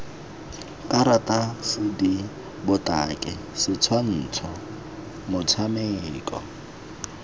karata cd botaki setshwantsho motshameko